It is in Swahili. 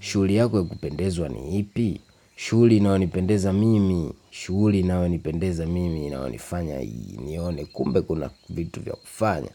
Shuli yako ya kupendezwa ni ipi. Shuli inanipendeza mimi. Shuli inanipendeza mimi. Inaonifanya nione kumbe kuna vitu vya kufanya